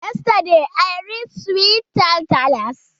Yesterday i read sweet tall tales.